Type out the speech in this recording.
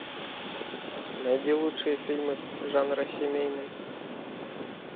найди лучшие фильмы жанра семейный